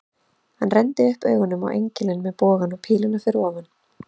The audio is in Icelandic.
Hann renndi augunum upp á engilinn með bogann og píluna fyrir ofan.